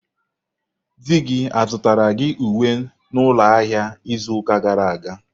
Di gi zụtara gị uwe n'ụlọ ahịa izu ụka gara aga?